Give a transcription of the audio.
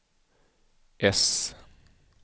äss